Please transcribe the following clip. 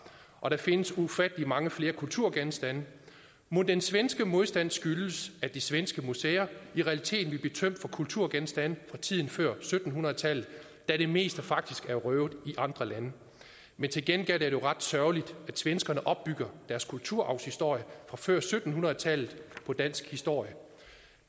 der findes ufattelig mange flere kulturgenstande mon den svenske modstand skyldes at de svenske museer i realiteten vil blive tømt for kulturgenstande fra tiden før sytten hundrede tallet da det meste faktisk er røvet i andre lande men til gengæld er det jo ret sørgeligt at svenskerne bygger deres kulturarvshistorie fra før sytten hundrede tallet på dansk historie